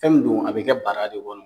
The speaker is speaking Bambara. Fin min don a bi kɛ baara de kɔnɔ